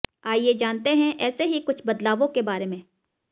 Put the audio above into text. आइए जानते हैं ऐसे ही कुछ बदलावों के बारे में